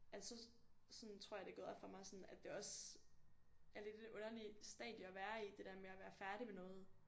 At så sådan tror jeg det er gået op for mig sådan at det er også er lidt et underligt stadie at være i det der med at være færdig med noget